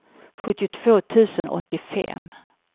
sjuttiotvå tusen åttiofem